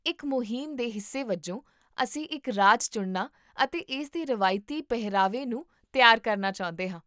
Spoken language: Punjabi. ਇੱਕ ਮੁਹਿੰਮ ਦੇ ਹਿੱਸੇ ਵਜੋਂ, ਅਸੀਂ ਇੱਕ ਰਾਜ ਚੁਣਨਾ ਅਤੇ ਇਸਦੇ ਰਵਾਇਤੀ ਪਹਿਰਾਵੇ ਨੂੰ ਤਿਆਰ ਕਰਨਾ ਚਾਹੁੰਦੇ ਹਾਂ